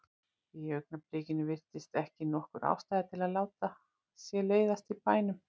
Í augnablikinu virtist ekki nokkur ástæða til að láta sér leiðast í bænum.